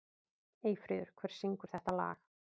Eyfríður, hver syngur þetta lag?